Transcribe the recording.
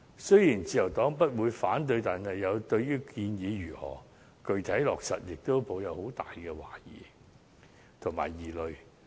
雖然自由黨不會反對建議，但對於建議如何具體落實，也抱有很大的懷疑和疑慮。